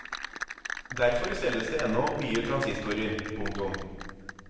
Derfor selges det ennå mye transistorer. punktum